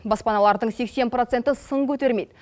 баспаналардың сексен проценті сын көтермейді